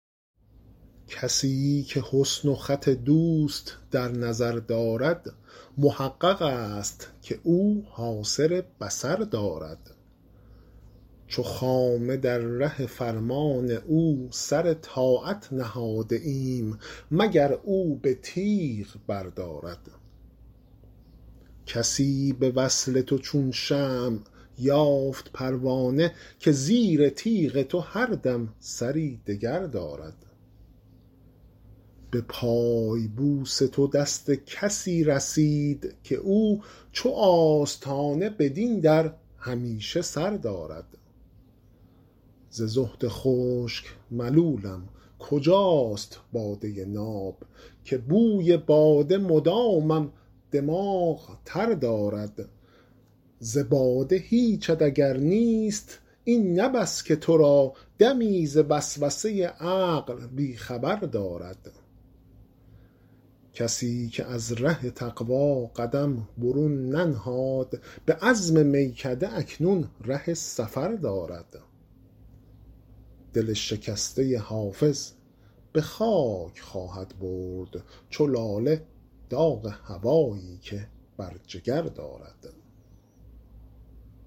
کسی که حسن و خط دوست در نظر دارد محقق است که او حاصل بصر دارد چو خامه در ره فرمان او سر طاعت نهاده ایم مگر او به تیغ بردارد کسی به وصل تو چون شمع یافت پروانه که زیر تیغ تو هر دم سری دگر دارد به پای بوس تو دست کسی رسید که او چو آستانه بدین در همیشه سر دارد ز زهد خشک ملولم کجاست باده ناب که بوی باده مدامم دماغ تر دارد ز باده هیچت اگر نیست این نه بس که تو را دمی ز وسوسه عقل بی خبر دارد کسی که از ره تقوا قدم برون ننهاد به عزم میکده اکنون ره سفر دارد دل شکسته حافظ به خاک خواهد برد چو لاله داغ هوایی که بر جگر دارد